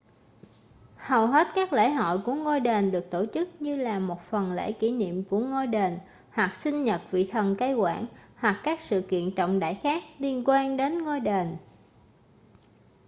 hầu hết các lễ hội của ngôi đền được tổ chức như là một phần lễ kỷ niệm của ngôi đền hoặc sinh nhật vị thần cai quản hoặc các sự kiện trọng đại khác liên quan đến ngôi đền